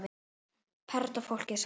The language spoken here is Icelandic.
Perla Fólkið þagði.